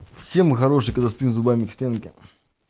все мы хорошие когда спим зубами к стенке